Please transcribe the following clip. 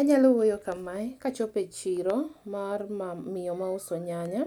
Anyalo wuoyo kamae ka achopo e chiro mar miyo mauso nyanya.